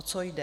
O co jde?